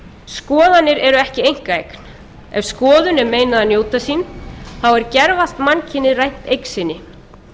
skoðanir eru ekki einkaeign ef skoðun er meinað að njóta sín þá er gervallt mannkynið rænt eign sinni